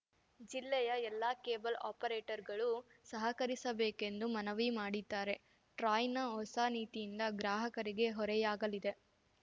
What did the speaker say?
ಜಿಲ್ಲೆಯ ಎಲ್ಲ ಕೇಬಲ್‌ ಆಪರೇಟರ್‌ಗಳು ಸಹಕರಿಸಬೇಕೆಂದು ಮನವಿ ಮಾಡಿದ್ದಾರೆ ಟ್ರಾಯ್‌ನ ಹೊಸ ನೀತಿಯಿಂದ ಗ್ರಾಹಕರಿಗೆ ಹೊರೆಯಾಗಲಿದೆ